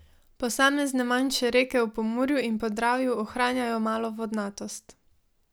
Posamezne manjše reke v Pomurju in Podravju ohranjajo malo vodnatost.